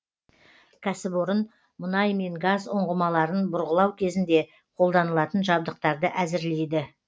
кәсіпорын мұнай мен газ ұңғымаларын бұрғылау кезінде қолданылатын жабдықтарды әзірлейді